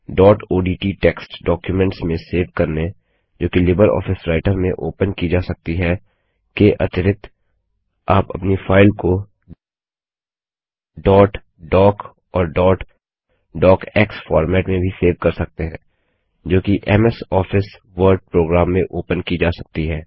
dot ODT text documents में save करनेजो कि लिबर ऑफिस राइटर में ओपन की जा सकती हैके अतिऱिक्त आप अपनी फाइल को डॉट डॉक और डॉट डॉक्स फॉर्मेट में भी सेव कर सकते हैं जो कि एमएस ऑफिस वर्ड प्रोग्राम में ओपन की जा सकती है